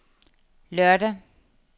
lørdag